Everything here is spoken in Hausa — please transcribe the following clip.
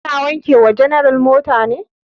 Ka na wanke wa general mota ne?